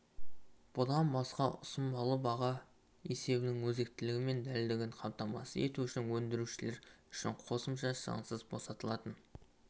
бұдан басқа ұсынбалы баға есебінің өзектілігі мен дәлдігін қамтамасыз ету үшін өндірушілер үшін қосымша шығынсыз босатылатын